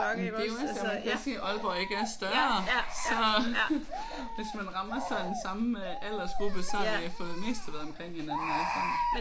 Det er jo også jeg siger Aalborg ikke er større så hvis man rammer sådan samme aldersgruppe så har man for det meste været omkring hinanden alle sammen